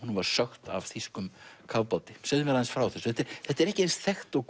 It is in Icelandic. var sökkt af þýskum kafbáti segðu mér aðeins frá þessu þetta er ekki eins þekkt og